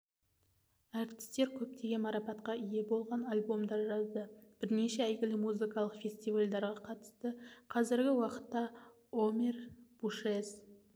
әртістер көптеген марапатқа ие болған альбомдар жазды бірнеше әйгілі музыкалық фестивальдарға қатысты қазіргі уақытта омер бушез